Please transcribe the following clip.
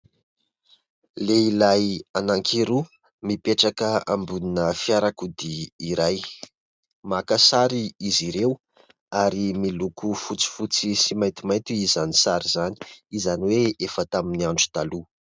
Lehilahy anankiroa mipetraka ambonina fiarakodia iray. Maka sary izy ireo ary miloko fotsifotsy sy maintimainty izany sary izany, izany hoe efa tamin'ny andro taloha.